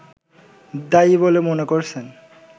দায়ী বলে মনে করছেন